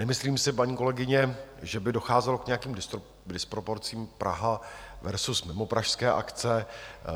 Nemyslím si, paní kolegyně, že by docházelo k nějakým disproporcím Praha versus mimopražské akce.